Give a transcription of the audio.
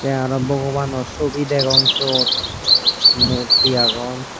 tey aro bogobano sobi degong syot morti agon.